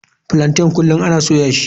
Plaintain kullum ana soya shi.